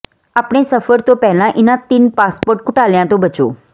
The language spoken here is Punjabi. ਆਪਣੇ ਸਫ਼ਰ ਤੋਂ ਪਹਿਲਾਂ ਇਹਨਾਂ ਤਿੰਨ ਪਾਸਪੋਰਟ ਘੁਟਾਲਿਆਂ ਤੋਂ ਬਚੋ